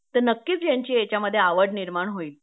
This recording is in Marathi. तर नक्कीच यांची यांच्यामध्ये आवड निर्माण होईल